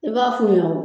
I b'a f'u ɲɛna